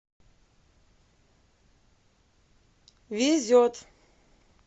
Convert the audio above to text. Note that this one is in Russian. везет